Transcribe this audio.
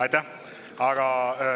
Aitäh!